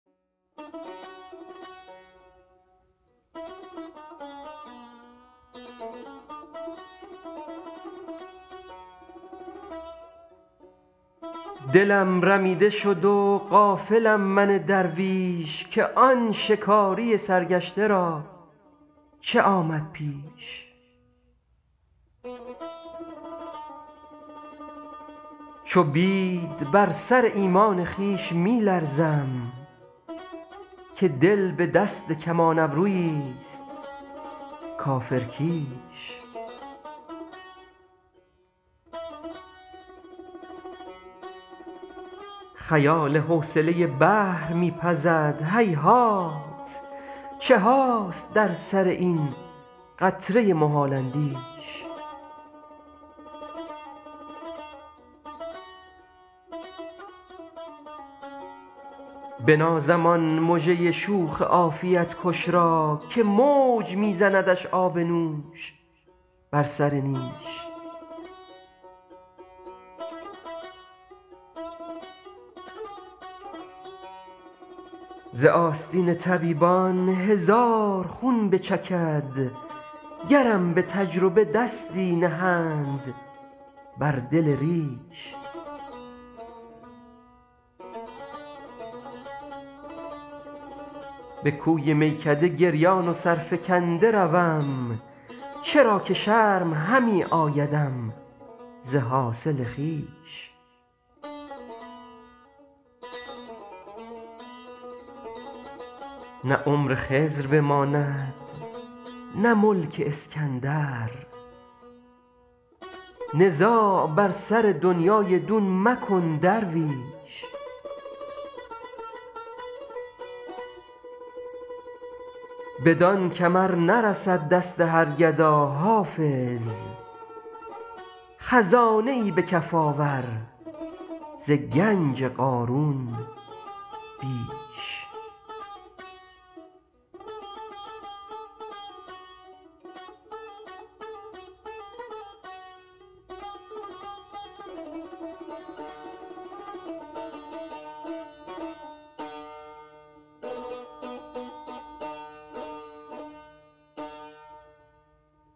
دلم رمیده شد و غافلم من درویش که آن شکاری سرگشته را چه آمد پیش چو بید بر سر ایمان خویش می لرزم که دل به دست کمان ابرویی ست کافرکیش خیال حوصله بحر می پزد هیهات چه هاست در سر این قطره محال اندیش بنازم آن مژه شوخ عافیت کش را که موج می زندش آب نوش بر سر نیش ز آستین طبیبان هزار خون بچکد گرم به تجربه دستی نهند بر دل ریش به کوی میکده گریان و سرفکنده روم چرا که شرم همی آیدم ز حاصل خویش نه عمر خضر بماند نه ملک اسکندر نزاع بر سر دنیی دون مکن درویش بدان کمر نرسد دست هر گدا حافظ خزانه ای به کف آور ز گنج قارون بیش